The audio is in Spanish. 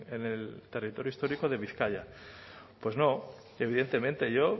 en el territorio histórico de bizkaia pues no evidentemente yo